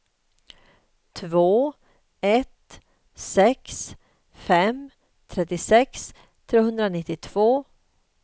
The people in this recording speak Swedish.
två ett sex fem trettiosex trehundranittiotvå